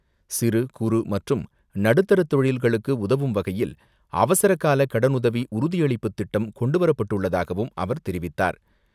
சிறு குறு மற்றும் நடுத்தர தொழில்களுக்கு உதவும் வகையில் அவசரகால கடனுதவி உறுதியளிப்பு திட்டம் கொண்டுவரப் பட்டுள்ளதாகவும் அவர் தெரிவித்தார்.